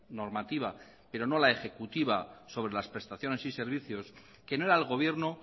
normativa pero no la ejecutiva sobre las prestaciones y servicios que no era el gobierno